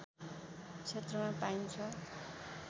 क्षेत्रमा पाइन्छ